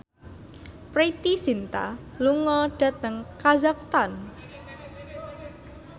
Preity Zinta lunga dhateng kazakhstan